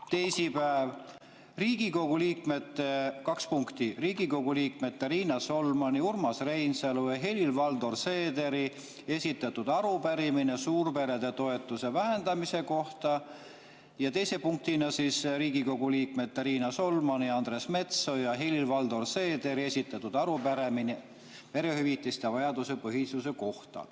Teisipäeval oli kaks punkti: Riigikogu liikmete Riina Solmani, Urmas Reinsalu ja Helir-Valdor Seederi esitatud arupärimine suurperede toetuse vähendamise kohta ning teise punktina Riigikogu liikmete Riina Solmani, Andres Metsoja ja Helir-Valdor Seederi esitatud arupärimine perehüvitiste vajaduspõhisuse kohta.